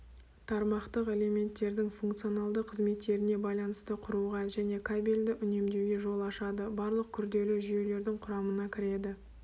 тармақтық элементтердің функционалды қызметтеріне байланысты құруға және кабельді үнемдеуге жол ашады барлық күрделі жүйелердің құрамына кіреді